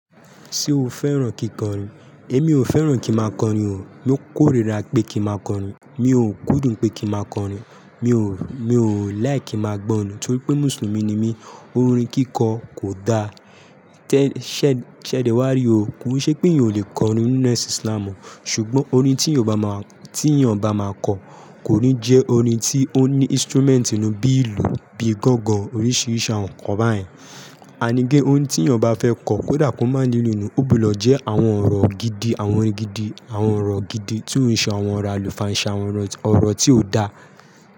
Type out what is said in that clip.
Ṣé o fẹ́ràn kíkọrin? Èmi ò fẹ́ràn kí máa kọrin o. Mo kórìíra pé kí máa kọrin. Mi ò kúndùn pé kí máa kọrin. Mi ò, mi ò like kí máa gbọ́ orin torí pé Mùsùlùmí ni mí. Orin kíkọ kò da. Tẹ́, ṣẹ̀, ṣẹ̀dẹ́wá rí o. Kò n ṣe pé eyan ò lè kọrin ninú ẹsìn Islam o. Ṣùgbọ́n orin tí èèyàn bá máa, tí èèyàn bá máa kọ, kò ní jẹ́ orin tí ó ní instrument inú bí ìlù, bí gángan, oríṣiríṣi àwọn nǹkan báyìí. And again, oun tí èèyàn bá fẹ́ kọ, kódà kó máa ní ìlù nù, ó gbọ́dọ̀ jẹ́ àwọn ọ̀rọ̀ gidi, àwọn orin gidi, àwọn ọ̀rọ̀ gidi tí ó ń sọ àwọn ọ̀rọ̀ àlùfàǹṣa, àwọn ọ̀rọ̀ tí ó dá.